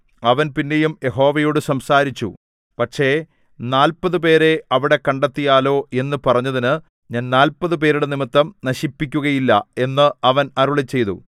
അവൻ പിന്നെയും യഹോവയോട് സംസാരിച്ചു പക്ഷേ നാല്പതുപേരെ അവിടെ കണ്ടെത്തിയാലോ എന്നു പറഞ്ഞതിന് ഞാൻ നാല്പതുപേരുടെ നിമിത്തം നശിപ്പിക്കുകയില്ല എന്ന് അവൻ അരുളിച്ചെയ്തു